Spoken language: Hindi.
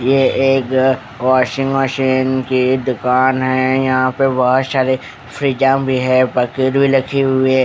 ये एक वाशिंग मशीन की दुकान है यहापर बोहोत सारे फ्रीज़ भी है बकेट भी है।